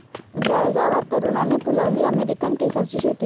जळगावात तरुणाने फुलवली अमेरिकन केसरची शेती